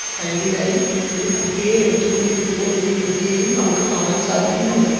സൈഡിലായി ഒരു കുട്ടിയെ എടുത്തു കൊണ്ടിരിക്കുന്ന ഒരു യുവതിയെയും നമുക്ക് കാണാൻ സാധിക്കുന്നുണ്ട്.